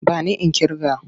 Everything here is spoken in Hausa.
Ba ni in ƙirga!